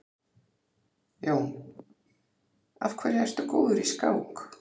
Jón: Af hverju ertu góður í skák?